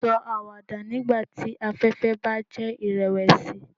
Sọ awada nigbati afẹfẹ ba jẹ irẹwẹsi